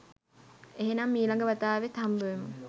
එහෙනම් ඊළඟ වතාවෙත් හම්බෙමු